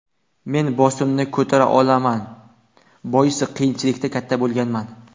Men bosimni ko‘tara olaman, boisi, qiyinchilikda katta bo‘lganman.